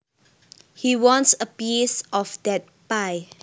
He wants a piece of that pie